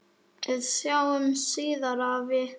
Við sjáumst síðar, afi.